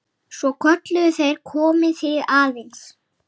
Svo kölluðu þeir: Komiði aðeins!